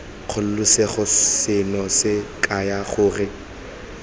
kgololosego seno se kaya gore